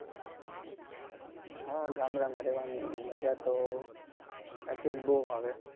હા ગામડામાં રેવાની માજા તો સાચે જ બહુ આવે.